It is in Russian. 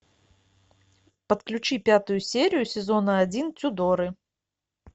подключи пятую серию сезона один тюдоры